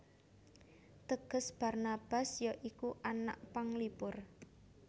Teges Barnabas ya iku anak panglipur